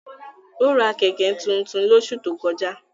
Ó ra Kẹ̀kẹ́ tuntun lóṣù tó kọjá